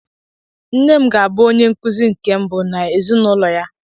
Nne m ga-abụ onye nkụzi nke mbụ n'ezinụlọ ya.